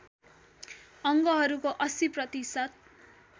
अङ्गहरूको ८० प्रतिशत